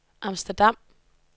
Amsterdam